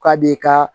K'a b'i ka